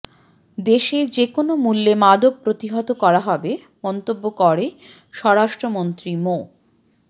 দেশে যেকোনো মূল্যে মাদক প্রতিহত করা হবে মন্তব্য করে স্বরাষ্ট্রমন্ত্রী মো